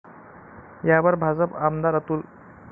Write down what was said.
यावर भाजप आमदार अतुल.